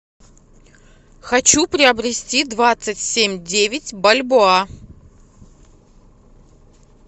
хочу приобрести двадцать семь девять бальбоа